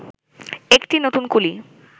একটি নতুন কুলি